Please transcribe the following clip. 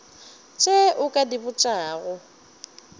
tše o ka di botšago